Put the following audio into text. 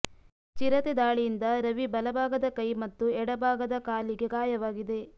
ಚಿರತೆ ದಾಳಿಯಿಂದ ರವಿ ಬಲ ಭಾಗದ ಕೈ ಮತ್ತು ಎಡಭಾಗದ ಕಾಲಿಗೆ ಗಾಯವಾಗಿದೆ